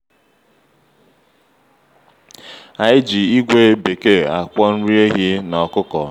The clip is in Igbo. anyị ji ígwè bekee akwọ nri ehi na ọkụkọ.